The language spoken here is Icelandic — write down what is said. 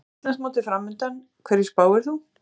Íslandsmótið framundan, hverju spáir þú?